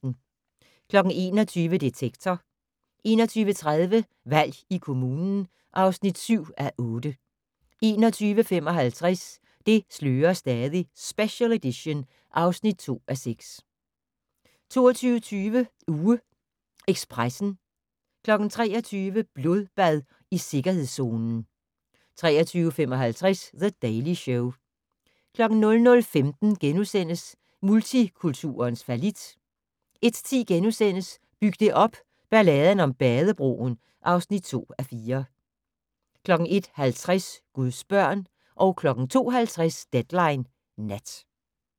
21:00: Detektor 21:30: Valg i kommunen (7:8) 21:55: Det slører stadig - special edition (2:6) 22:20: UgeEkspressen 23:00: Blodbad i sikkerhedszonen 23:55: The Daily Show 00:15: Multikulturens fallit * 01:10: Byg det op - Balladen om Badebroen (2:4)* 01:50: Guds børn 02:50: Deadline Nat